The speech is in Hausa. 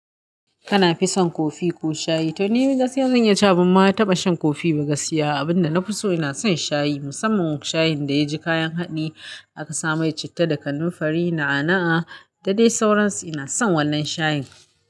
Kana fison kofi ko shayi? To ni gaskiya zan iya cewa ban ma taɓa shan kofi ba gaskiya. Abinda na fi so ina son shayi. Musamman shayin da ya ji kayan haɗi aka sa mai citta da kanunfari, na'a na'a da dai sauransu. Ina son wannan shayin.